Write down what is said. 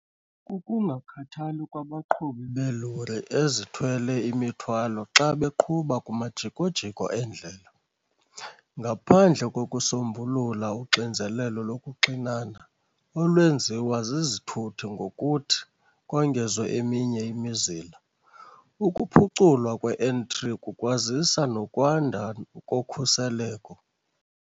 kukungakhathali kwabaqhubi belori ezithwele imithwalo xa beqhuba kumajiko-jiko endlela. "Ngaphandle kokusombulula uxinzelelo lokuxinana olwenziwa zizithuthi ngokuthi kongezwe eminye imizila, ukuphuculwa kwe-N3 kukwazisa nokwanda kokhuseleko."